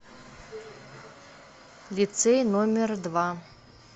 лицей номер два